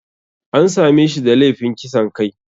An same shi da laifin kisan kai.